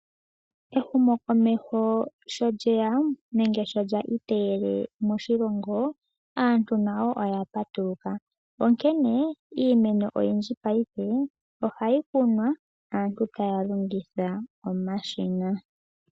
Ehumokomeho sho lye ya nenge sho lya iteyele moshilongo, aantu nayo oya patuluka. Iimeno oyindji mongaashingeyi oha yi kunwa, aantu ta ya longitha omashina.